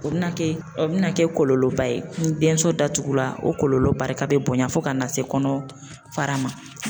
O bɛna kɛ o bɛ na kɛ kɔlɔlɔba ye, ni denso datugula o kɔlɔlɔ barika bɛ bonya fo ka na se kɔnɔ fara ma.